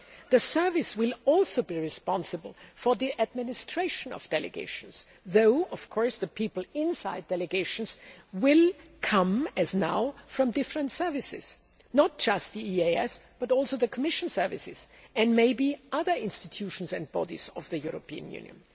The service will also be responsible for the administration of delegations, though the people inside delegations will come, as now, from different services not just the EEAS, but also the Commission services and maybe other institutions and bodies of the European Union.